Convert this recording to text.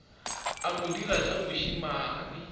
a mo dira tša bošemane